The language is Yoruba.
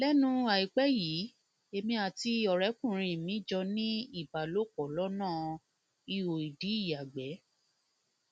lẹnu àìpẹ yìí èmi àti ọrẹkùnrin mi jọ ní ìbálòpọ lọnà ihoìdí ìyàgbẹ